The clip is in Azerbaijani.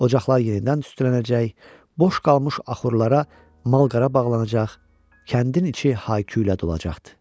Ocaqlar yenidən tüstülənəcək, boş qalmış axurlara mal-qara bağlanacaq, kəndin içi hay-küylə dolacaqdı.